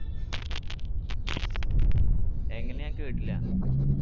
എങ്ങനെ ഞാൻ കേട്ടില്ല